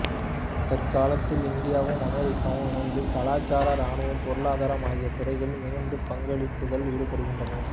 தற்காலத்தில் இந்தியாவும் அமெரிக்காவும் இணைந்து கலாசாரம் ராணுவம் பொருளாதாரம் ஆகிய துறைகளில் மிகுந்த பங்களிப்புகளில் ஈடுபடுகின்றன